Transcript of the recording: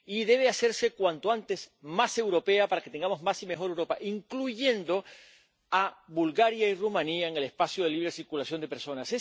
Y debe hacerse cuanto antes más europea, para que tengamos más y mejor Europa, incluyendo a Bulgaria y Rumanía en el espacio de libre circulación de personas.